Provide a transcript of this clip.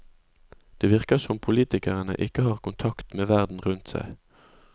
Det virker som politikere ikke har kontakt med verden rundt seg.